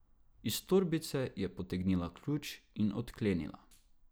Iz torbice je potegnila ključ in odklenila.